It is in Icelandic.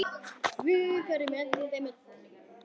Guð verið með ykkur öllum.